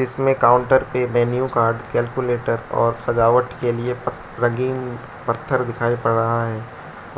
इसमें काउंटर पे menu card calculator और सजावट के लिए पक रंगीन पत्थर दिखाई पड़ रहा है